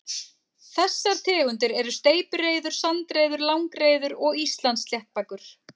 Þessar tegundir eru steypireyður, sandreyður, langreyður og Íslandssléttbakur.